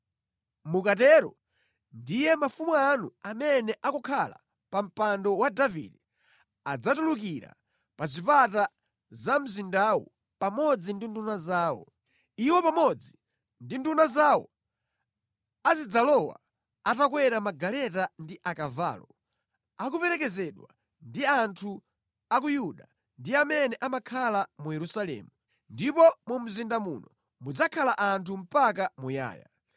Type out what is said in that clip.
Mukatero ndiye mafumu anu amene akukhala pa mpando wa Davide adzatulukira pa zipata za mzindawu pamodzi ndi nduna zawo. Iwo pamodzi ndi nduna zawo azidzalowa atakwera magaleta ndi akavalo, akuperekezedwa ndi anthu a ku Yuda ndi amene amakhala mu Yerusalemu, ndipo mu mzinda muno mudzakhala anthu mpaka muyaya.